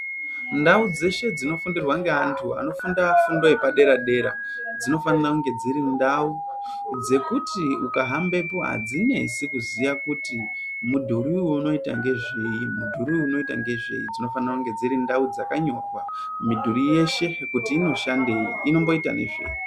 Ndau dzeshe dzinofundira ngeantu anofunda fundo yepadera dera dzinofanira kunge dziri ndau dzekuti ukahambepo adzinesi kuziya kuti mudhuri uyu unoita ngezvei, mudhuri uyu unoita ngezvei dzinofanira kunge dziri ndau dzakanyorwa mudhuri yeshe kuti inoshandei , inomboita nezvei.